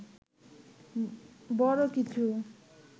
বড় কিছু